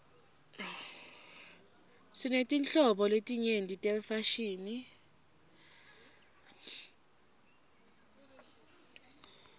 sinetinhlobo letinyenti tefashini